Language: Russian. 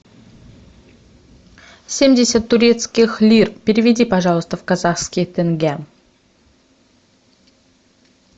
семьдесят турецких лир переведи пожалуйста в казахские тенге